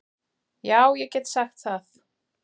Já ég get sagt það.